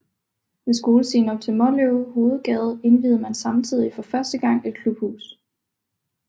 Ved skolestien op til Måløv Hovedgade indviede man samtidig for første gang et klubhus